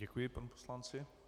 Děkuji panu poslanci.